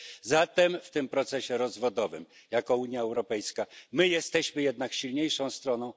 Zatem w tym procesie rozwodowym to my, jako Unia Europejska, jesteśmy jednak silniejszą stroną.